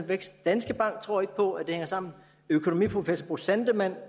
vækst danske bank tror ikke på at det hænger sammen økonomiprofessor bo sandemann